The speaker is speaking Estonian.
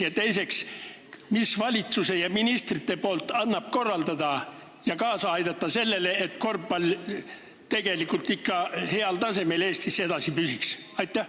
Ja teiseks, mida saavad teha valitsus ja ministrid, et aidata kaasa sellele, et korvpall Eestis ikka heal tasemel edasi püsiks?